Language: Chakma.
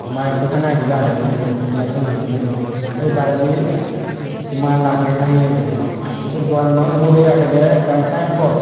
ba ekko tangaye guri agey bidirey glassano bidirey se baredi mal agey tangeye guri tey sei doganano ugurey agedey ekkan sayenpot .